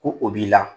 Ko o b'i la